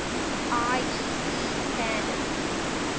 iec standards